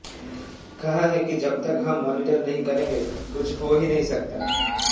कहा है कि जब तक हम मोनिटर नहीं करेंगे कुछ हो ही नहीं सकता